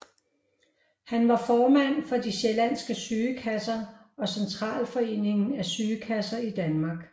Han var formand for de sjællandske Sygekasser og Centralforeningen af Sygekasser i Danmark